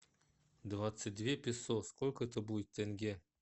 двадцать две песо сколько это будет в тенге